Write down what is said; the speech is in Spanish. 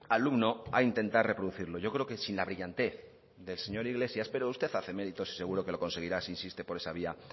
alumno a intentar reproducirlo yo creo que sin la brillantez del señor iglesias pero usted hace méritos y yo creo que lo conseguirá si insiste por esa vía